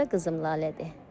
Bu da qızım Lalədir.